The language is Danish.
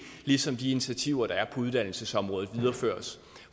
ligesom de initiativer der er på uddannelsesområdet videreføres